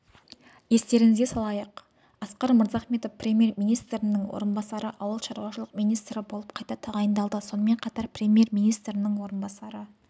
естеріңізге салайық асқар мырзахметов премьер-министрінің орынбасары ауыл шаруашылық министрі болып қайта тағайындалды сонымен қатар премьер-министрінің орынбасары